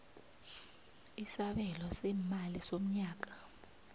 isabelo seemali somnyaka